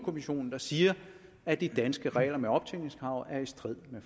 kommissionen der siger at de danske regler med optjeningskravet er i strid med